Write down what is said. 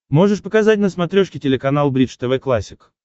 можешь показать на смотрешке телеканал бридж тв классик